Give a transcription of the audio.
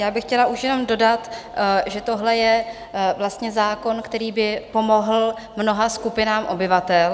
Já bych chtěla už jenom dodat, že tohle je vlastně zákon, který by pomohl mnoha skupinám obyvatel.